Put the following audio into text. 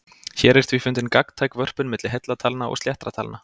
Hér er því fundin gagntæk vörpun milli heilla talna og sléttra talna.